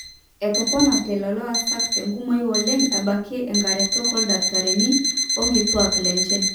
etoponate lelo aasak tenkumoi oleng ebaiki inkaretok ooldakitarini orkituaak lenye